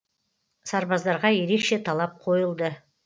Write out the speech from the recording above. сарбаздарға ерекше талап қойылды